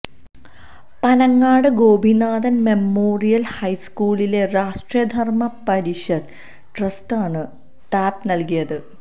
Panangad Gopinathan memorial ഹൈസ്കൂളിലെ രാഷ്ട്ര ധർമ്മ പരിഷത്ത് ട്രസ്റ്റാണ് tab നൽകിയത്